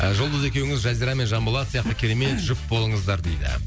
ы жұлдыз екеуіңіз жазира пен жанболат сияқты керемет жұп болыңыздар дейді